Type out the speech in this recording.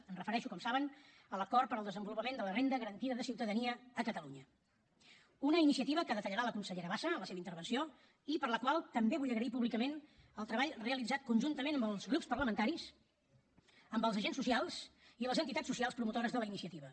em refereixo com saben a l’acord per al desenvolupament de la renda garantida de ciutadania a catalunya una iniciativa que detallarà la consellera bassa en la seva intervenció i per a la qual també vull agrair públicament el treball realitzat conjuntament amb els grups parlamentaris amb els agents socials i les entitats socials promotores de la iniciativa